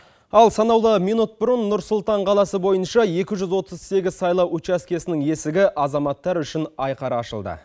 ал санаулы минут бұрын нұр сұлтан қаласы бойынша екі жүз отыз сегіз сайлау учаскесінің есігі азаматтар үшін айқара ашылды